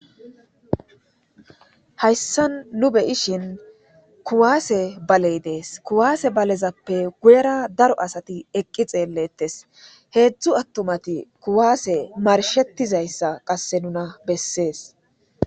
Hayssan nu be'ishin kuwasse baale de'es. Kuwasse baalezappe guyera daro asatti eqqi xeelitees. Hedzdzu attumatti kuwasse marshettizayssa qase nuuna besses